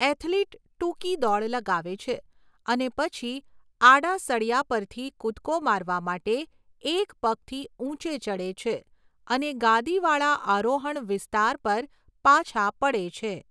Athlete ટૂંકી દોડ લગાવે છે અને પછી આડા સળિયા પરથી કૂદકો મારવા માટે એક પગથી ઊંચે ચડે છે અને ગાદીવાળા આરોહણ વિસ્તાર પર પાછા પડે છે.